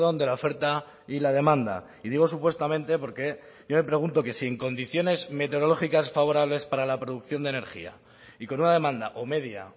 de la oferta y la demanda y digo supuestamente porque yo me pregunto que si en condiciones meteorológicas favorables para la producción de energía y con una demanda o media